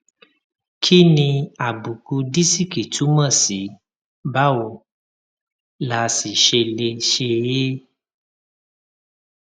kí ni àbùkù disiki túmò sí báwo la sì ṣe lè ṣe é